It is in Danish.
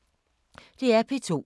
DR P2